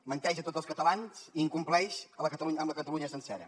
menteix a tots els catalans i incompleix amb la catalunya sencera